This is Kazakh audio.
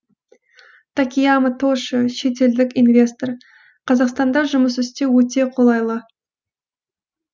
такеямо тошио шетелдік инвестор қазақстанда жұмыс істеу өте қолайлы